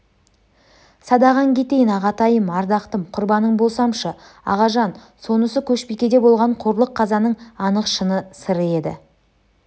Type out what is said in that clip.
садағаң кетейін ағатайым ардақтым құрбаның болсамшы ағажан сонысы көшбикеде болған қорлық қазаның анық шыны сыры еді